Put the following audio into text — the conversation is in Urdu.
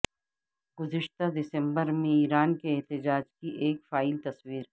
گزشتہ دسمبر میں ایران کے احتجاج کی ایک فائل تصویر